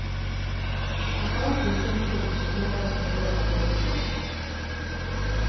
Han tar opp i sin kunst mye av det som berører vår tid.